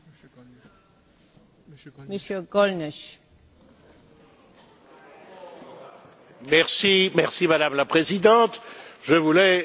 Madame la Présidente, je voulais dire que je soutiens d'une façon générale toutes les initiatives qui ont pour but de condamner la justice sélective.